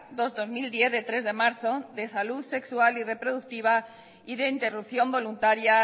dos barra dos mil diez de tres de marzo de salud sexual y reproductiva y de interrupción voluntaria